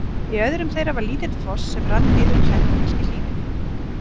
Í öðrum þeirra var lítill foss sem rann niður klettabelti í hlíðinni.